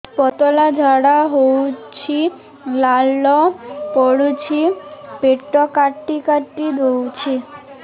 ପତଳା ଝାଡା ହଉଛି ଲାଳ ପଡୁଛି ପେଟ କାଟି କାଟି ଦଉଚି